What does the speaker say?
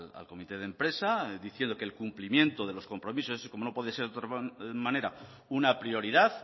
al comité de empresa diciendo que el cumplimiento de los compromisos como no puede ser de otra manera una prioridad